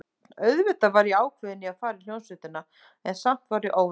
Auðvitað var ég ákveðin í að fara í hljómsveitina, en samt var ég óróleg.